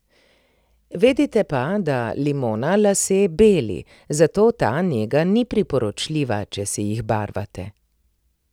Vedite pa, da limona lase beli, zato ta nega ni priporočljiva, če si jih barvate.